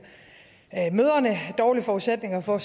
mødrene dårlige forudsætninger for at